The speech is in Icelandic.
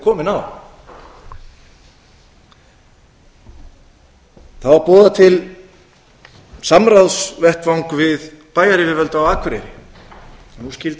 komin á það var boðað til samráðsvettvangs við bæjaryfirvöld á akureyri að nú skyldi